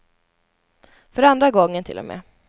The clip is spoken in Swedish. För andra gången till och med.